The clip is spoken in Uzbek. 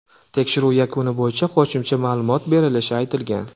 Tekshiruv yakuni bo‘yicha qo‘shimcha ma’lumot berilishi aytilgan.